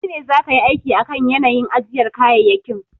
Kai ne zaka yi aiki akan yanayin ajiyar kayayyakin.